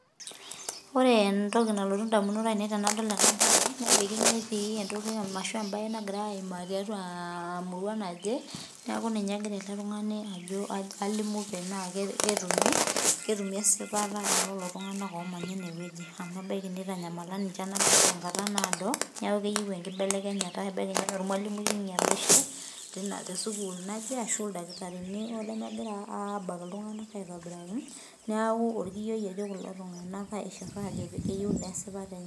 Ore entoki nalotu indamunot ainei tenadol ena, ketii emasho ashu entoki nagira aimaa tiatua emurua naje, neeku ninye egira ele tung'ani ajo alimu tenaa ketumi, ketumi esipata elelo tung'anak omanya inewueji. Amu ebaiki nitanyamala ninche enatoki tenkata naado, neeku keyieu enkibelekenyata ebaiki naa ormalimui oinyalishe tesukuul naje, ashu ildakitarini lemegira abak iltung'anak aitobiraki, neeku orkiyioi etii kulo tung'anak aishir ajo keyieu nesipata enye.